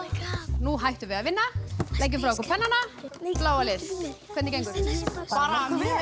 nú hættum við að vinna leggið frá ykkur pennana bláa lið hvernig gengur bara mjög